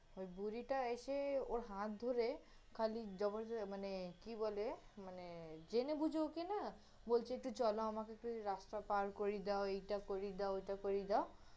ওই বুড়িটা এসে ওর হাত ধরে খালি মানে কি বলে, মানে জেনে বুঝে ওকে না, বলছে একটু চল আমাকে একটু রাস্তা পার করিয়ে দাও, এইটা করিয়ে দাও, ওইটা করিয়ে দাও